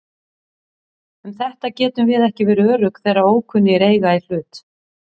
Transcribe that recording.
Um þetta getum við ekki verið örugg þegar ókunnugir eiga í hlut.